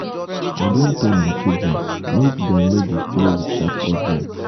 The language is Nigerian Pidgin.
i don tell my children make dem no dey play with sharp objects